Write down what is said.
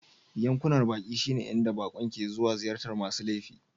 Yankunan baƙi shine inda baƙon ke zuwa ziyartar masu laifi..